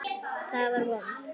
Ég var vond.